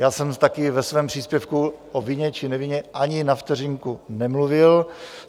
Já jsem taky ve svém příspěvku o vině či nevině ani na vteřinku nemluvil.